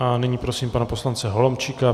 A nyní prosím pana poslance Holomčíka.